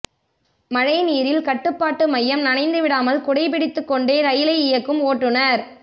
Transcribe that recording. மழைநீரில் கட்டுப்பாட்டு மையம் நனைந்துவிடாமல் குடை பிடித்துக்கொண்டே ரயிலை இயக்கும் ஓட்டுநர்